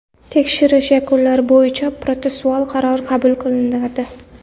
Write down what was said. Tekshirish yakunlari bo‘yicha protsessual qaror qabul qilinadi.